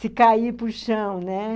se cair para o chão, né?